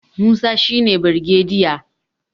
Musa shi ne birgediya